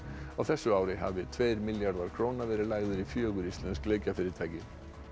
á þessu ári hafi tveir milljarðar króna verið lagðir í fjögur íslensk leikjafyrirtæki